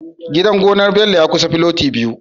Gidan gonar Bello ya kusa filoti biyu